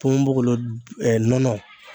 Ponponpogolon nɔnɔ